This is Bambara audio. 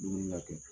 Dumuni na kɛ